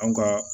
An ka